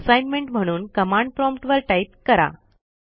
assignment म्हणून command prompt वर type करा